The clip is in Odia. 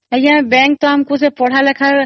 bank ତ ଛୁଆ ମାନଙ୍କ ପଢିବାର ପାଇଁ ବି